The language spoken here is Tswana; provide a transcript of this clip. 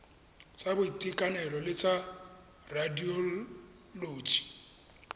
tsa boitekanelo le tsa radioloji